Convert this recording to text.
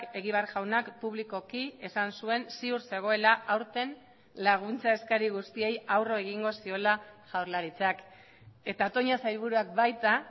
egibar jaunak publikoki esan zuen ziur zegoela aurten laguntza eskari guztiei aurre egingo ziola jaurlaritzak eta toña sailburuak baita